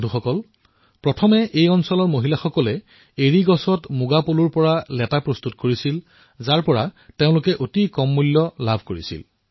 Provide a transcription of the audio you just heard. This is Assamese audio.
বন্ধুসকল প্ৰথমে এই এলেকাটোৰ মহিলাসকলে মালৱৰী গছত ৰেচমৰ কীটৰ পৰা কুকুন ককুন প্ৰস্তুত কৰিছিল আৰু তেওঁলোকে ইয়াৰ অতিশয় কম দাম লাভ কৰিছিল